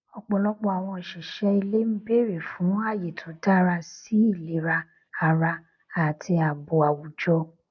ọpọlọpọ àwọn òṣìṣẹ ilé n bèrè fún àyè tó dára sí ìlera ara àti ààbò àwùjọ